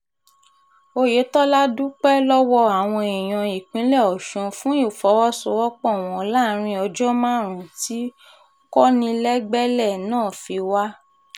oyetola dúpẹ́ lọ́wọ́ àwọn èèyàn ìpínlẹ̀ ọ̀sùn fún ìfọwọ́sowọ́pọ̀ wọn láàrin ọjọ́ márùn-ún tí kọnilẹgbẹlẹ̀ náà fi wà